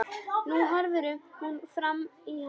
Nú horfir hún framan í hann.